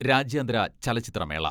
രാജ്യാന്തര ചലച്ചിത്ര മേള